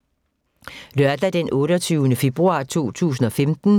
Lørdag d. 28. februar 2015